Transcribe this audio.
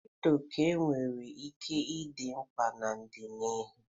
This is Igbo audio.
Kripto ka nwere ike ịdị mkpa n'ọdịnihu.